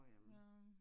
Ja